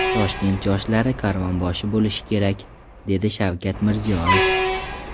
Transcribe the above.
Toshkent yoshlari karvonboshi bo‘lishi kerak”, dedi Shavkat Mirziyoyev.